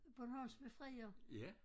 Bornholms befrier